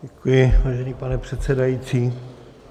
Děkuji, vážený pane předsedající.